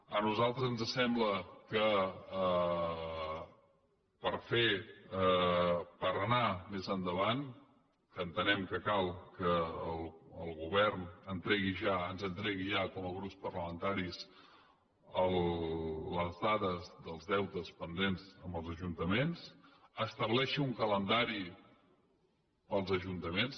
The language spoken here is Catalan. a nosaltres ens sembla que per fer per anar més endavant entenem que cal que el govern entregui ja ens entregui ja com a grups parlamentaris les dades dels deutes pendents amb els ajuntaments estableixi un calendari per als ajuntaments